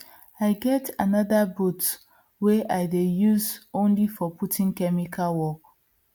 i get anther boot wey i dey use only for putting chemical work